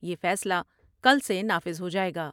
یہ فیصلہ کل سے نافذ ہو جاۓ گا ۔